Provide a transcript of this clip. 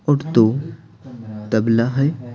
और तो तबला है।